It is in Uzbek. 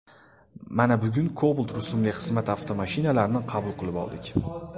Mana bugun Cobalt rusumli xizmat avtomashinalarini qabul qilib oldik.